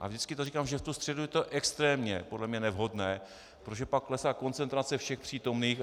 A vždycky to říkám, že v tu středu je to extrémně podle mě nevhodné, protože pak klesá koncentrace všech přítomných.